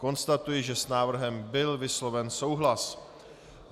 Konstatuji, že s návrhem byl vysloven souhlas.